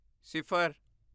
ਸਿਫਰ